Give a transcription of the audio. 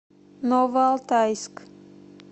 новоалтайск